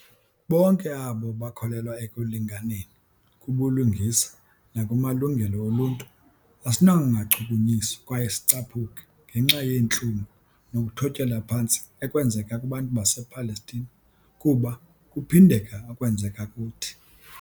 Bonke abo bakholelwa ekulinganeni, kubulungisa nakumalungelo oluntu, asinakungachukunyiswa kwaye sicaphuke ngenxa yentlungu nokuthotyelwa phantsi ekwenzeka kubantu basePalestina, kuba kuphindeka okwenzeka kuthi.